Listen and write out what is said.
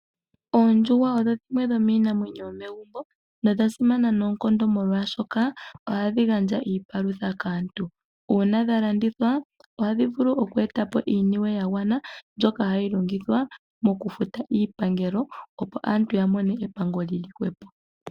Oondjuhwa odho iinamwenyo yomegumbo nodha simana noonkondo molwaashoka ohadhi gandja iipalutha kaantu. Uuna dhalandithwa ohadhi vulu okwe eta po iisimpo yagwanaa ndyoka hayi longithwa mokufuta iipangelo opo aantu yamone epango lili hwepo.